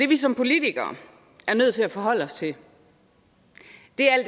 vi som politikere er nødt til at forholde os til